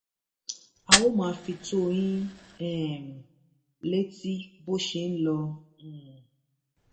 a óò máa fi tó yín um létí bó ṣe ń lọ um